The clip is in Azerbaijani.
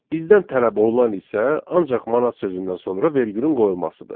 Bizdən tələb olunan isə ancaq manat sözündən sonra vergülün qoyulmasıdır.